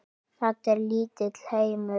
Þetta er lítill heimur!